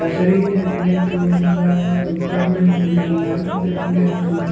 देखने को मिल रहा है ऊपर में मुझे लाइट देखने को --